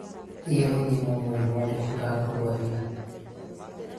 thiĩ ũthĩmwo mũrĩmũ ũrĩkũ ũrakũrũaria